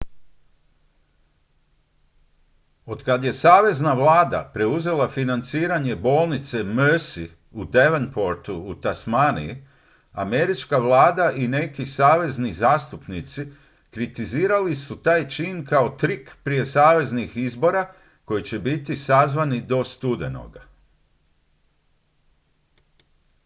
otkad je savezna vlada preuzela financiranje bolnice mersey u devonportu u tasmaniji američka vlada i neki savezni zastupnici kritizirali su taj čin kao trik prije saveznih izbora koji će biti sazvani do studenoga